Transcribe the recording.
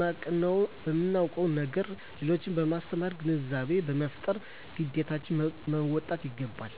ያወቅነዉን ነገር ለሌሎች በማስተማር ግንዛቤ በመፍጠር ግዴታችን መወጣት ይገባል